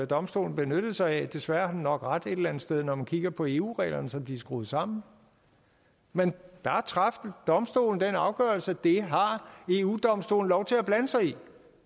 domstolen benyttede sig af desværre havde den nok ret et eller andet sted når man kigger på eu reglerne som de er skruet sammen men der traf domstolen den afgørelse at det har eu domstolen lov til at blande sig i